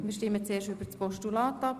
Wir stimmen zuerst über das Postulat ab.